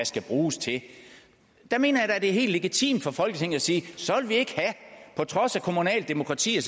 skal bruges til der mener jeg da det er helt legitimt for folketinget at sige på trods af kommunalt demokrati og